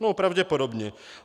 No pravděpodobně.